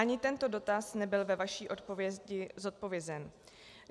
Ani tento dotaz nebyl ve vaší odpovědi zodpovězen.